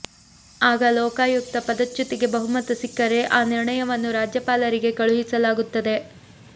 ಆಗ ಲೋಕಾಯುಕ್ತ ಪದಚ್ಯುತಿಗೆ ಬಹುಮತ ಸಿಕ್ಕರೆ ಆ ನಿರ್ಣಯವನ್ನು ರಾಜ್ಯಪಾಲರಿಗೆ ಕಳುಹಿಸಲಾಗುತ್ತದೆ